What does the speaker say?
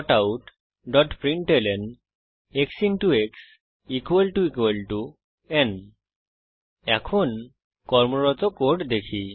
Systemoutprintlnএক্স x ন এখন কর্মরত কোড দেখি